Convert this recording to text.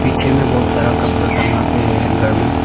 पीछे में बहोत सारा कपड़ा टंगा के है हैंगर में।